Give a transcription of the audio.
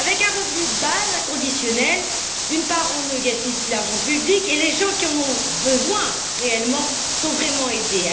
Avec un revenu de base inconditionnel, d'une part on ne gaspille plus l'argent public, d'autre part les gens qui en ont réellement besoin sont vraiment aidés.